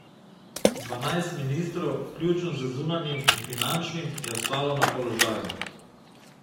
Dvanajst ministrov, vključno z zunanjim in finančnim, je ostalo na položaju.